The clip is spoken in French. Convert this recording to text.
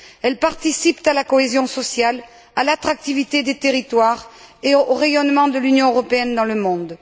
Elles participent à la cohésion sociale, à l'attractivité des territoires et au rayonnement de l'Union européenne dans le monde.